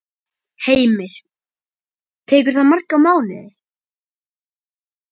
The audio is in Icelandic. Heimir: Tekur það marga mánuði?